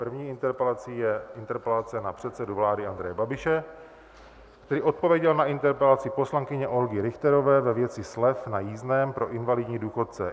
První interpelací je interpelace na předsedu vlády Andreje Babiše, který odpověděl na interpelaci poslankyně Olgy Richterové ve věci slev na jízdném pro invalidní důchodce.